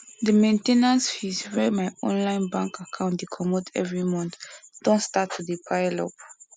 the main ten ance fees wey my online bank account dey comot every month don start to dey pile up